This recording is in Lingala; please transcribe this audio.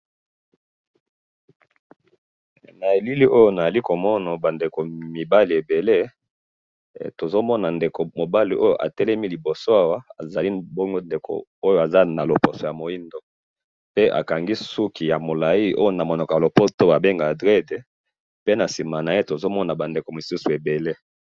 Na moni ndeko moindo a kangi suki milai na sima na ye batu ebele.